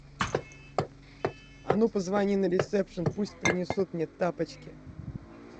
а ну позвони на ресепшн пусть принесут мне тапочки